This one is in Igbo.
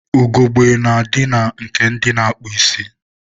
Ugogbe na-adị na nke ndị na-akpụ isi.